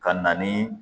Ka na ni